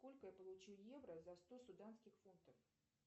сколько я получу евро за сто суданских фунтов